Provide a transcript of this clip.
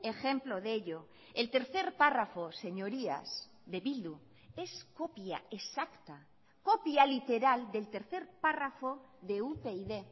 ejemplo de ello el tercer párrafo señorías de bildu es copia exacta copia literal del tercer párrafo de upyd